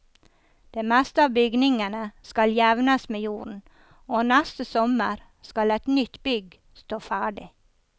Det meste av bygningene skal jevnes med jorden, og neste sommer skal et nytt bygg stå ferdig.